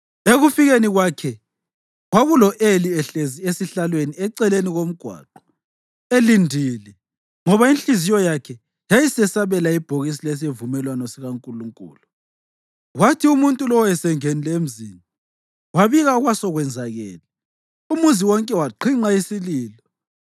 Ekufikeni kwakhe, kwakulo-Eli ehlezi esihlalweni eceleni komgwaqo, elindile, ngoba inhliziyo yakhe yayisesabela ibhokisi lesivumelwano sikaNkulunkulu. Kwathi umuntu lowo esengenile emzini wabika okwasekwenzakele, umuzi wonke waqhinqa isililo.